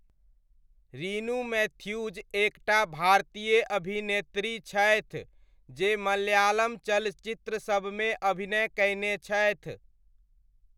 Rinu Mathews एक टा भारतीय अभिनेत्री छथि जे मलयालम चलचित्रसबमे अभिनय कयने छथि।